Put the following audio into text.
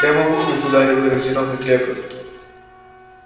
прямо в ухо ударил разъярённый клёкот